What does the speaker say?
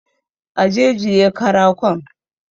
Aje jiye karakon